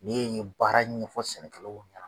N'e ye nin baara in ɲɛfɔ sɛnɛkɛlaw kan.